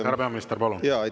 Härra peaminister, palun!